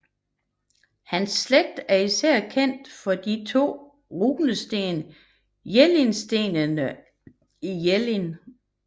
Hans slægt er især kendt fra de to store runesten Jellingstenene i Jelling